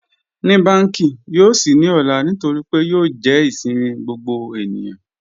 Ní bankí yòó ṣí ní òlà nítorí pé yòó jẹ́ ìṣẹ̀mi gbogbo ènìyàn?